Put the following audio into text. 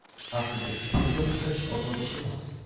Aslida kiprik yopishtirish oson ish emas.